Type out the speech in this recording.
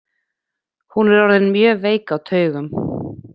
Hún er orðin mjög veik á taugum.